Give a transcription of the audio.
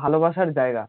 ভালোবাসার জায়গা